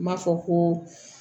N b'a fɔ ko